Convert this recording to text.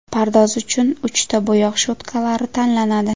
Pardoz uchun uchta bo‘yoq cho‘tkalari tanlanadi.